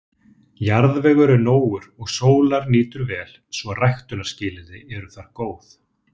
Jarðvegur er nógur og sólar nýtur vel, svo ræktunarskilyrði eru þar góð.